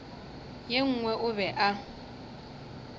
ye nngwe o be a